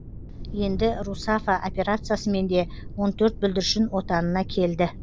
енді русафа операциясымен де он төрт бүлдіршін отанына келді